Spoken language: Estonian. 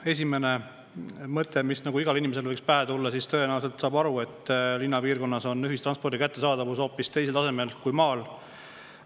Esimene mõte, mis igal inimesel võiks pähe tulla, on see, et linnapiirkonnas on ühistranspordi kättesaadavus hoopis teisel tasemel kui maal.